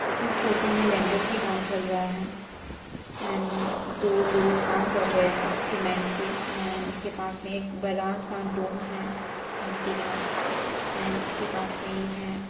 इस फोटो में लेंटर की काम चल रही है एंड दो लोग काम कर रहे है सीमेंट से एंड उसके पास में बरा सा डॉम है | मिट्टी का एंड उसके पास नहीं है ।